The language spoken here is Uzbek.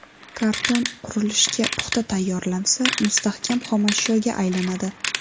Karton qurilishga puxta tayyorlansa, mustahkam xomashyoga aylanadi.